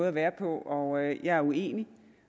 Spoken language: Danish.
at være på og den er jeg uenig i